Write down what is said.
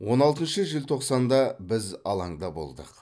он алтыншы желтоқсанда біз алаңда болдық